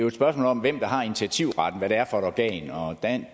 et spørgsmål om hvem der har initiativretten hvad det er for et organ organ